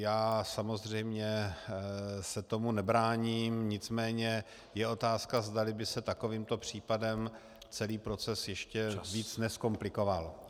Já samozřejmě se tomu nebráním, nicméně je otázka, zdali by se takovýmto případem celý proces ještě víc nezkomplikoval.